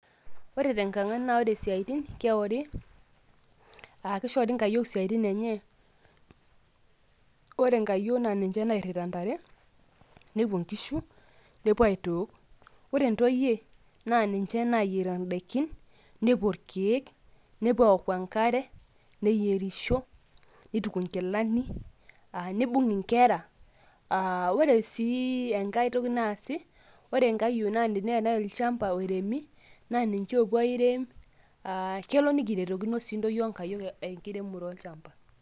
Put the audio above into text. ore tenkang' naa ore isiaitin naa keori, aa kishori i nkayiok isiatin enye. ore nkayiok naa ninche loirita ntare. nepuo nkishu nepuo aitook. ore ntoyie naa ninche naayier idaikin, nepuo irkeek, nepuo enkare. neyierisho, neituku inkilani, neibung inkera .ore sii enkae toki naasi. ore nkayiok naa teneetae olchampa oiremi naa ninche oopup aiirem. kelo nikiretokino sii onkayiok enkiremore olchampa.